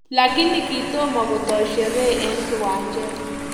Lakini kitomo kotoi sheree eng kiwanjet